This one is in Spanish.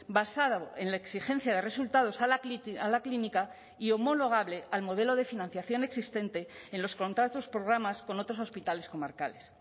basado en la exigencia de resultados a la clínica y homologable al modelo de financiación existente en los contratos programas con otros hospitales comarcales